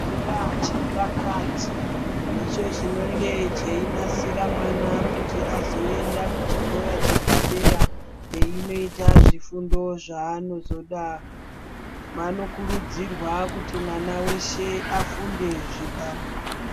Chikora chepakati, ndicho chinonge cheinasira mwana kuti azoenda kuchikora chepadera, einoita zvifundo zvaano zoda. Vano kurudzirwa kuti mwana weshe afunde zvibalo.